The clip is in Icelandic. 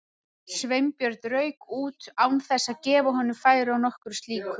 Sveinbjörn rauk út án þess að gefa honum færi á nokkru slíku.